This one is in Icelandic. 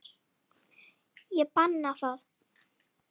Ég banna það.